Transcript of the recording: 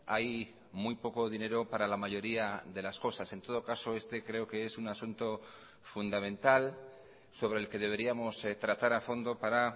hay muy poco dinero para la mayoría de las cosas en todo caso este creo que es un asunto fundamental sobre el que deberíamos tratar a fondo para